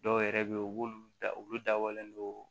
Dɔw yɛrɛ be yen u b'olu da olu dabɔlen don